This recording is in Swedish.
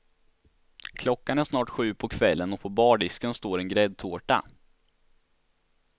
Klockan är snart sju på kvällen och på bardisken står en gräddtårta.